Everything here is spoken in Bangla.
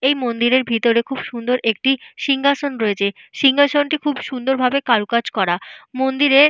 এই মন্দিরের ভেতরে খুব সুন্দর একটি সিংহাসন রয়েছে। সিংহাসনটি খুব সুন্দর ভাবে কারুকাজ করা। মন্দিরে --